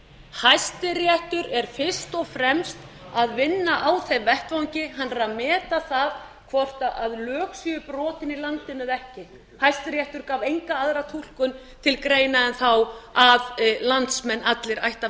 hæstiréttur er fyrst og fremst að vinna á þeim vettvangi hann er að meta það hvort lög séu brotin í landinu eða ekki hæstiréttur gaf enga aðra túlkun til greina en þá að landsmenn allir ættu að